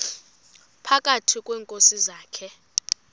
phakathi kweenkosi zakhe